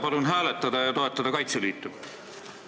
Palun hääletada ja toetada Kaitseliitu!